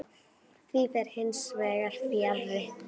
Því fer hins vegar fjarri.